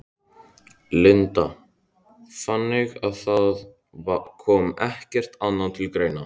Linda: Þannig að það kom ekkert annað til greina?